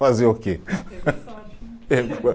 Fazer o quê? Teve sorte